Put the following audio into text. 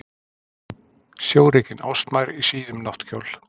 Sjórekin ástmær í síðum náttkjól.